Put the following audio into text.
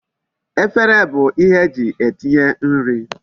Efere bu ihe eji etinye nri